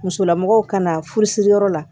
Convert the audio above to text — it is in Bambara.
Musolamɔgɔw ka na furusiri yɔrɔ la